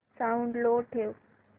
sound low ठेव